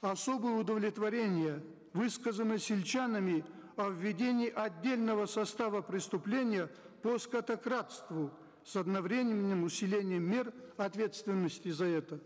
особое удовлетворение высказано сельчанами о введении отдельного состава преступления по скотокрадству с одновременным усилением мер ответственности за это